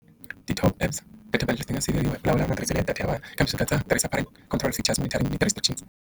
Ti-apps data ti nga siveriwa hi vulavula hi matirhiselo ya data ya vana kambe swi katsa tirhisa control charger monitoring ni ti-restrictions.